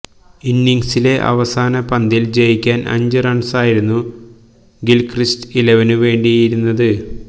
ഇന്നിങ്സിലെ അവസാന പന്തില് ജയിക്കാന് അഞ്ച് റണ്സായിരുന്നു ഗില്ക്രിസ്റ്റ് ഇലവനു വേണ്ടിയിരുന്നത്